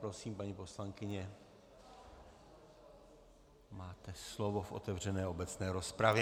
Prosím, paní poslankyně, máte slovo v otevřené obecné rozpravě.